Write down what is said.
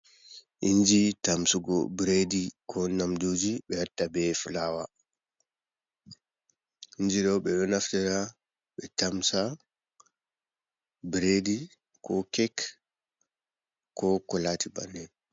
Inji tamsugo biredi ko nyamduji ɓe watta be fulaawa inji ɓe ɗo naftira ɓe tamsa biredi ko kek ko ko laati bannin.